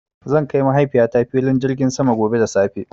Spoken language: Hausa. Zan kai Mahaifiyata filin jirgin sama gobe da safe.